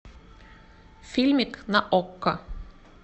фильмик на окко